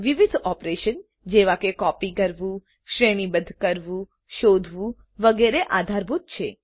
વિવિધ ઓપરેશન જેવા કે કોપી કરવું શ્રેણીબદ્ધ કરવું શોધવું વગેરે આધારભૂત છે